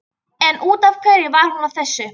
En út af hverju var hún að þessu?